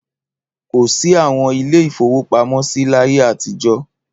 Kò sí àwọn ilé-ìfowópamọ́sí láyé àtijọ́.